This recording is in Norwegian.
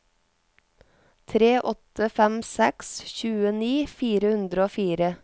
tre åtte fem seks tjueni fire hundre og fire